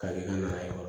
Ka kɛ na ye